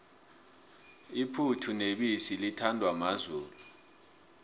iphuthu nebisi lithandwa mazulu